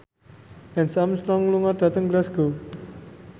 Lance Armstrong lunga dhateng Glasgow